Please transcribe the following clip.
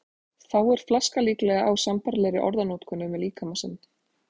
Fáir flaska líklega á sambærilegri orðanotkun um líkama sinn.